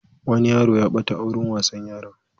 Wani yaro ya ɓata a wurin wasan yara.